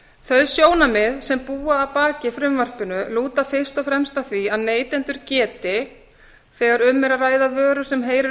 þau sjónarmið sem búa að baki frumvarpinu lúta fyrst og fremst að því að neytendur geti þegar um er að ræða vöru sem heyrir